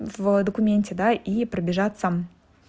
в документе да и пробежаться